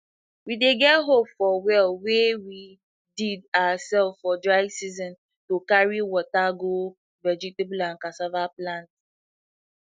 we dey get hope for well wey we did ourselves for dry season to carry water go vegetable and cassava plant